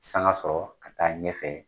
Sanga sɔrɔ ka taa ɲɛ fɛ